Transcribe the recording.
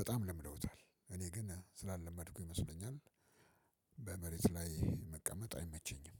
በጣም ለምደውታል። እኔ ግን ስላለመድኩ ይመስለኛል። በመሬት ላይ መቀመጥ አይመቸኝም።